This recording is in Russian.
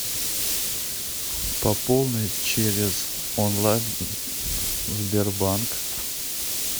пополни через онлайн сбербанк